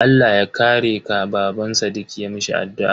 Allah ya kare ka, Baban sadiq ya mishi addu'a.